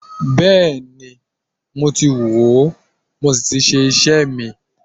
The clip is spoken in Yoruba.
Bẹ́ẹ̀ni, mo ti wòó mo sì ti ṣe iṣẹ́ mi